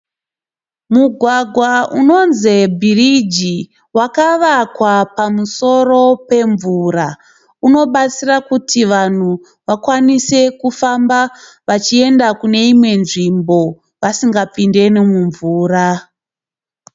Mugwagwa unonzi bhiriji wakavakwa pamusoro pemvura, wakavakwa pamusoro pemvura unobatsira kuti vanhu vakwanise kufamba vachienda kune imwe nzvimbo vasingapinde nemumvura.